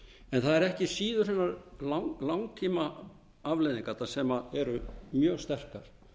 það eru ekki síður langtímaafleiðingarnar sem eru mjög sterkar